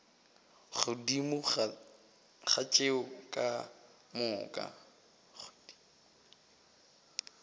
godimo ga tšeo ka moka